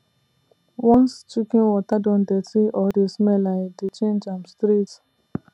once chicken water don dirty or dey smell i dey change am straight